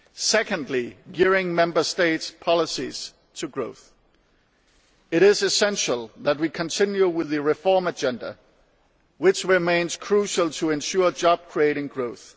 Secondly, gearing Member States' policies to growth it is essential that we continue with the reform agenda, which remains crucial to ensuring job creating growth.